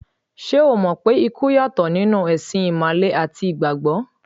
Ṣé o mọ̀ pé ikú yàtọ̀ nínú ẹ̀sìn Ìmàle àti Ìgbàgbọ́?